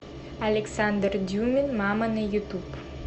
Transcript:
александр дюмин мама на ютуб